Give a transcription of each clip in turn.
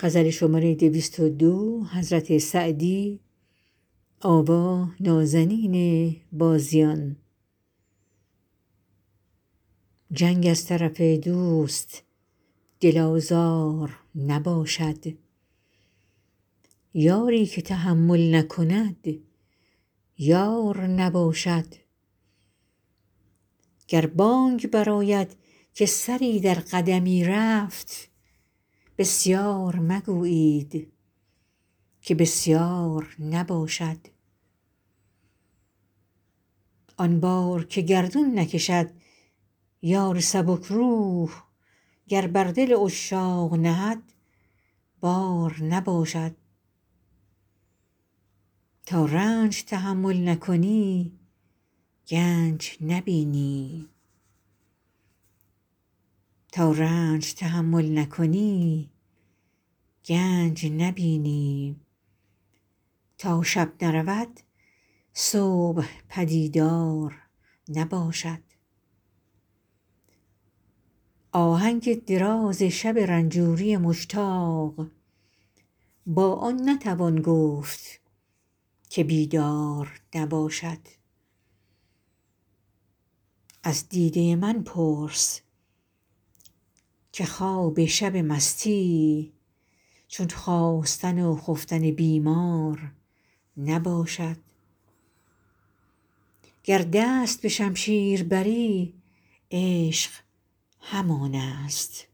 جنگ از طرف دوست دل آزار نباشد یاری که تحمل نکند یار نباشد گر بانگ برآید که سری در قدمی رفت بسیار مگویید که بسیار نباشد آن بار که گردون نکشد یار سبک روح گر بر دل عشاق نهد بار نباشد تا رنج تحمل نکنی گنج نبینی تا شب نرود صبح پدیدار نباشد آهنگ دراز شب رنجوری مشتاق با آن نتوان گفت که بیدار نباشد از دیده من پرس که خواب شب مستی چون خاستن و خفتن بیمار نباشد گر دست به شمشیر بری عشق همان است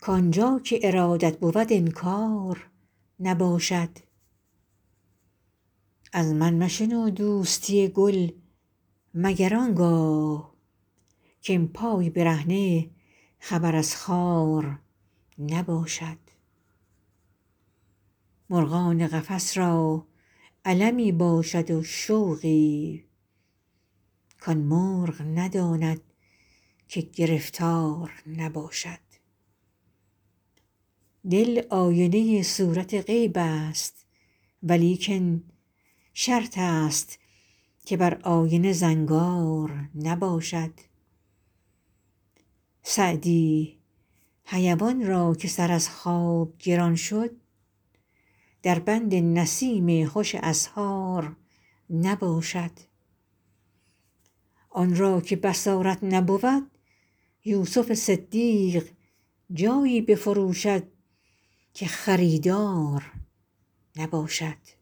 کآن جا که ارادت بود انکار نباشد از من مشنو دوستی گل مگر آن گاه که ام پای برهنه خبر از خار نباشد مرغان قفس را المی باشد و شوقی کآن مرغ نداند که گرفتار نباشد دل آینه صورت غیب است ولیکن شرط است که بر آینه زنگار نباشد سعدی حیوان را که سر از خواب گران شد در بند نسیم خوش اسحار نباشد آن را که بصارت نبود یوسف صدیق جایی بفروشد که خریدار نباشد